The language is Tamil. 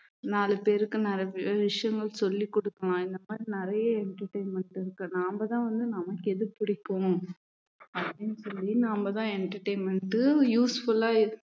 நாலு பேருக்கு நிறைய விஷயங்கள் சொல்லிக் கொடுக்கலாம் இந்த மாதிரி நிறைய entertainment இருக்கு நாம தான் வந்து நமக்கு எது பிடிக்கும் அப்படின்னு சொல்லி நாமதான் entertainment useful ஆ